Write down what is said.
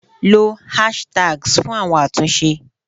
Lo hashtags fún àwọn àtúnṣe